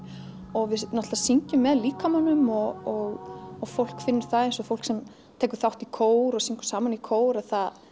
og við náttúrulega syngjum með líkamanum og og fólk finnur það eins og fólk sem tekur þátt í kór og syngur saman í kór